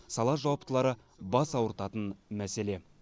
сала жауаптылары бас ауыртатын мәселе